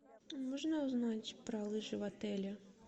можно узнать про лыжи в отеле